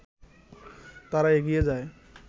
তারা এগিয়ে যায়